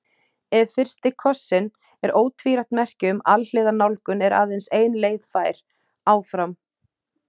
Ef fyrsti kossinn er ótvírætt merki um alhliða nálgun er aðeins ein leið fær: Áfram.